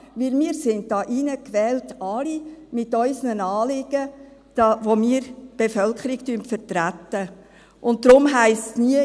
Denn wir alle sind hier hineingewählt mit unseren Anliegen, mit denen wir die Bevölkerung vertreten, und darum heisst es nie: